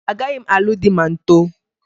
Agaghị m alụ di ma m too